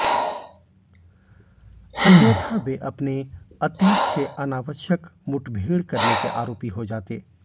अन्यथा वे अपने अतीत से अनावश्यक मुठभेड़ करने के आरोपी हो जाते